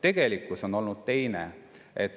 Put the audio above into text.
Tegelikkus on olnud teine.